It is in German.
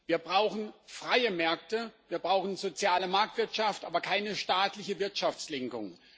Wir brauchen freie Märkte, wir brauchen soziale Marktwirtschaft, aber keine staatliche Wirtschaftslenkung.